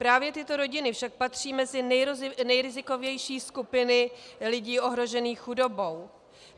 Právě tyto rodiny však patří mezi nejrizikovější skupiny lidí ohrožených chudobou.